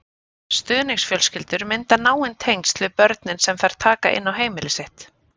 Stuðningsfjölskyldur mynda náin tengsl við börnin sem þær taka inn á heimili sitt.